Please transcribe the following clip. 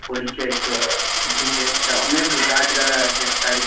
পরিচয় টো দিছে এইটা অনেক গাছ লাগায়য়াছে সাইড -এ সাইড --